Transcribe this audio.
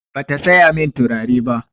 Bata saya min turare ba.